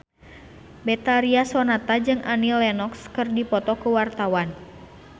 Betharia Sonata jeung Annie Lenox keur dipoto ku wartawan